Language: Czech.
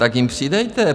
Tak jim přidejte!